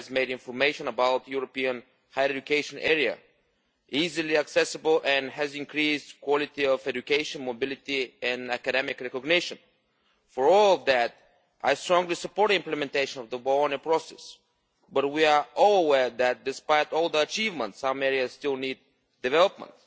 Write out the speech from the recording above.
It has made information about the European higher education area easily accessible and has increased the quality of education mobility and academic recognition. For all that, I strongly support the implementation of the Bologna Process, but we are all aware that despite all the achievements, some areas still need development.